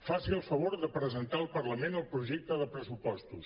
faci el favor de presentar al parlament el projecte de pressupostos